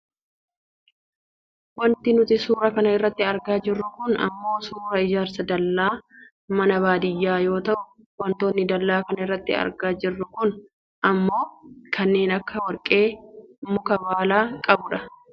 Wanti nuti suuraa kana irratti argaa jirru kun ammoo suuraa ijaarsa dallaa mana baadiyyaa yoo ta'u wantootni dallaa kana irratti argaa jirru kun ammoo kanneen akka warqee, muka baala qabudha.